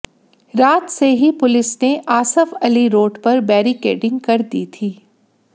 रात से ही पुलिस ने आसफ अली रोड पर बैरिकेडिंग कर दी थी